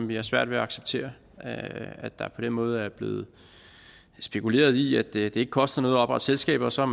vi har svært ved at acceptere at der på den måde er blevet spekuleret i at det ikke koster noget at oprette selskaber så